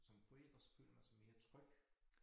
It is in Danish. Som forælder så føler man sig mere tryg